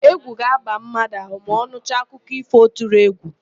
Égwù ga-aba mmadụ ahụ ma ọ nụcha akụkọ ífò tụrụ égwù.